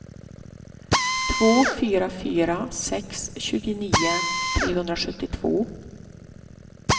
två fyra fyra sex tjugonio trehundrasjuttiotvå